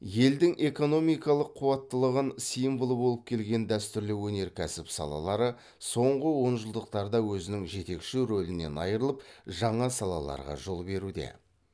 елдің экономикалық қуаттылығын символы болып келген дәстүрлі өнеркәсіп салалары соңғы онжылдықтарда өзінің жетекші рөлінен айырылып жаңа салаларға жол беруде